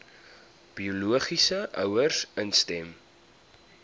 biologiese ouers instem